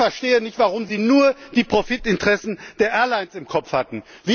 Ich verstehe nicht, warum Sie nur die Profitinteressen der Airlines im Kopf hatten.